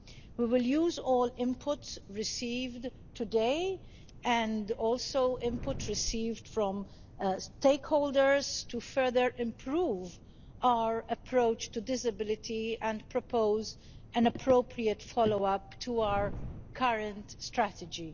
We will use all input received today, and also input received from stakeholders, to further improve our approach to disability and propose an appropriate follow up to our current strategy.